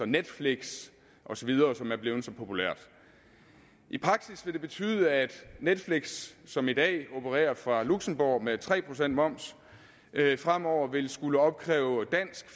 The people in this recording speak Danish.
netflix osv som er blevet så populært i praksis vil det betyde at netflix som i dag opererer fra luxembourg med tre procent moms fremover vil skulle opkræve dansk